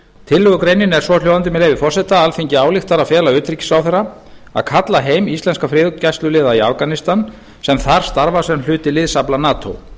tillögugreinin er svohljóðandi með leyfi forseta alþingi ályktar að fela utanríkisráðherra að kalla heim íslenska friðargæsluliða í afganistan sem þar starfa sem hluti liðsafla nato